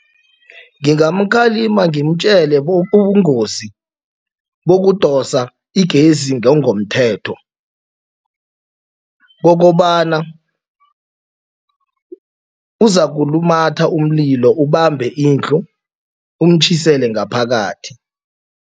Ngimkhalima ngimtjele ubungozi bokudosa igezi ngongemthetho kokobana uzakulumatha umlilo ubambe indlu umtjhisele ngaphakathi.